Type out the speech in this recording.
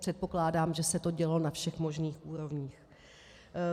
Předpokládám, že se to dělo na všech možných úrovních.